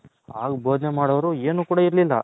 ಆಗ ಬೊದನೆ ಮಾಡೌರ್ ಏನು ಕೂಡ ಇರ್ಲಿಲ್ಲ